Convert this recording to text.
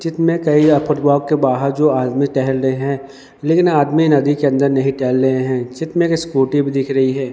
के बाहर जो आदमी टहल रहे हैं लेकिन आदमी नदी के अंदर नहीं टहल रहे हैं चित्र में एक स्कूटी भी दिख रही है।